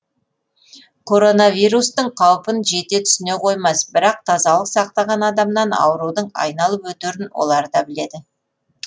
коронавирустың қаупін жете түсіне қоймас бірақ тазалық сақтаған адамнан аурудың айналып өтерін олар да біледі